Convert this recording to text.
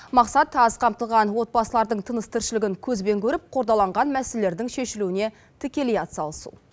мақсат аз қамтылған отбасылардың тыныс тіршілігін көзбен көріп қордаланған мәселелердің шешілуіне тікелей атсалысу